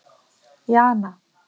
Jana